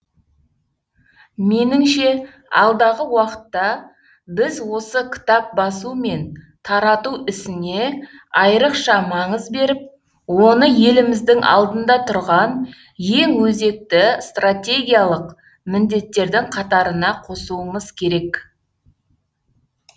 меніңше алдағы уақытта біз осы кітап басу мен тарату ісіне айрықша маңыз беріп оны еліміздің алдында тұрған ең өзекті стратегиялық міндеттердің қатарына қосуымыз керек